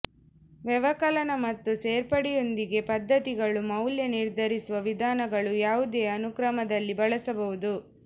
ವ್ಯವಕಲನ ಮತ್ತು ಸೇರ್ಪಡೆಯೊಂದಿಗೆ ಪದ್ಧತಿಗಳು ಮೌಲ್ಯ ನಿರ್ಧರಿಸುವ ವಿಧಾನಗಳು ಯಾವುದೇ ಅನುಕ್ರಮದಲ್ಲಿ ಬಳಸಬಹುದು